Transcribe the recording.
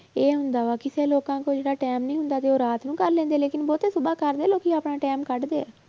ਇਹ ਹੁੰਦਾ ਵਾ ਕਿਸੇ ਲੋਕਾਂਂ ਕੋਲ ਇੰਨਾ time ਨੀ ਹੁੰਦਾ ਤੇ ਉਹ ਰਾਤ ਨੂੰ ਕਰ ਲੈਂਦੇ ਆ ਲੇਕਿੰਨ ਬਹੁਤੇ ਸੁਭਾ ਕਰਦੇ ਆ ਲੋਕੀ ਆਪਣਾ time ਕੱਢਦੇ ਆ